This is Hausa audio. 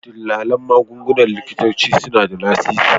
Dillalan magungunan likitanci suna da lasisi